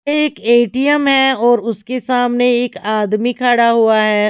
एक एटीएम हैऔर उसके सामने एक आदमी खड़ा हुआ है।